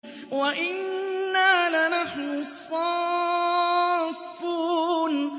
وَإِنَّا لَنَحْنُ الصَّافُّونَ